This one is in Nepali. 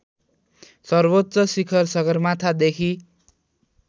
सर्वोच्च शिखर सगरमाथादेखि